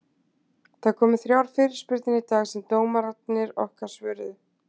Það komu þrjár fyrirspurnir í dag sem dómararnir okkar svöruðu.